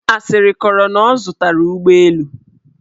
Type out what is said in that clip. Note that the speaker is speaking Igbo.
Asịrị kọrọ na ọ zụtara ụgbọelu.